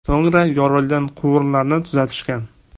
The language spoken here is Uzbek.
So‘ngra yorilgan quvurlarni tuzatishgan.